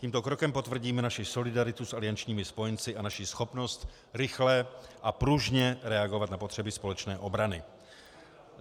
Tímto krokem potvrdíme naši solidaritu s aliančními spojenci a naši schopnost rychle a pružně reagovat na potřeby společné obrany.